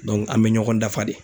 an bɛ ɲɔgɔn dafa de.